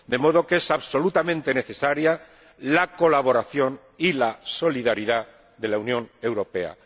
De modo que son absolutamente necesarias la colaboración y la solidaridad de la Unión Europea.